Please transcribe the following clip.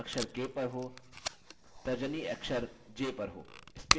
तर्जनी अक्षर j पर हो